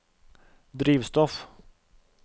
drivstoff